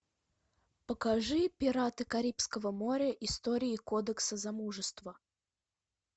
покажи пираты карибского моря истории кодекса замужество